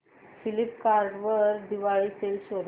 Flipkart वर Diwali sale शोधा